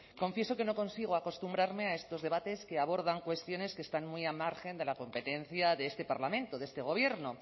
confieso que no consigo acostumbrarme a estos debates que abordan cuestiones que están muy al margen de la competencia de este parlamento de este gobierno